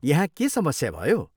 यहाँ के समस्या भयो?